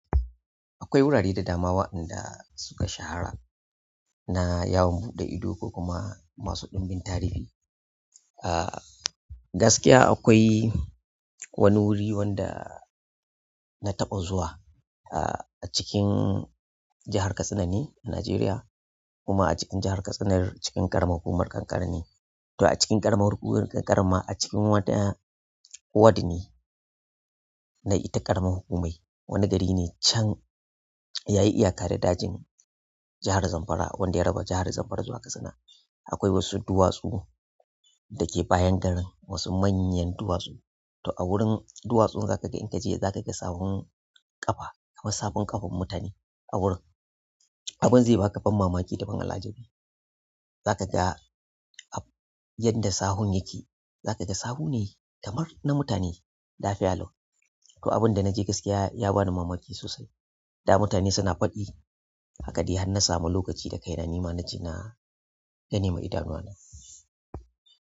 Akwai wurare da damawa inda suka shahara na yawon buɗe ido ko kuma masu ɗimbin tarihi. Gaskiya akwai wani wuri wanda na taɓa zuwa a cikin jahar Katsina ne a Najeriya hukuma a cikin jahar Katsina cikin ƙaramar hukumar Kankara ne. To a cikin ƙaramar hukumar Kankara ma a cikin wata ward ne na ita ƙaramar hukumai wani gari ne can yayi iyaka da dajin jahar Zamfara wanda ya raba jahar Zamfara zuwa Katsina. Akwai wasu duwatsu da ke bayan garin wasu manyan duwatsu. To a wurin duwatsun za ka ga in ka je za ka ga sawun ƙafa, kamar sahon ƙafan mutane a wurin. Abin zai baka ban mamaki da ban al'ajabi. Za ka ga a yadda sahun yake. Za ka ga sawun ne kamar na mutane lafiya lau to abin da na je gaskiya ya bani mamaki sosai. Da mutane suna faɗi a kaɗehan na samu lokaci da kaina nima na je na gani ma idanuwa na.